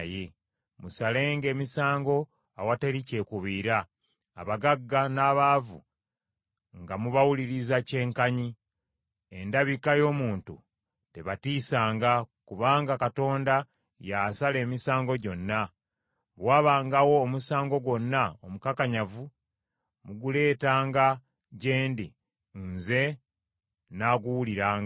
Musalenga emisango awatali kyekubiira; abagagga n’abaavu nga mubawuliriza kyenkanyi. Endabika y’omuntu tebatiisanga, kubanga Katonda y’asala emisango gyonna. Bwe wabangawo omusango gwonna omukakanyavu muguleetanga gye ndi, nze nnaaguwuliranga.’